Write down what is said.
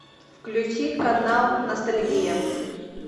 включи канал ностальгия